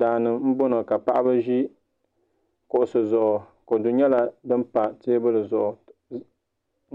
Daani n boŋo ka paɣaba ʒi kuɣusi zuɣu kodu nyɛla din pa teebuli zuɣu